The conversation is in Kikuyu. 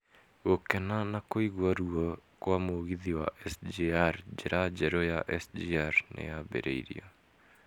Gũkena na kũigwa ruo kwa mũgithi wa SGR, njĩra njerũ ya SGR nĩ yambĩrĩirio.